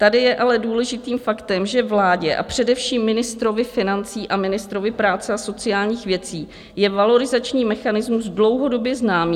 Tady je ale důležitým faktem, že vládě a především ministrovi financí a ministrovi práce a sociálních věcí je valorizační mechanismus dlouhodobě známý.